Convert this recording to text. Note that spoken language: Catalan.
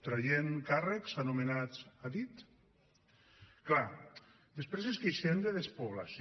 traient càrrecs anomenats a dit clar després ens queixem de despoblació